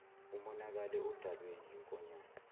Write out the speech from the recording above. umonakale odalwe yinkonyane